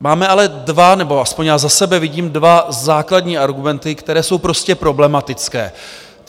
Máme ale dva nebo aspoň já za sebe vidím dva základní argumenty, které jsou prostě problematické.